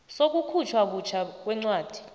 sokukhutjhwa butjha kwencwadi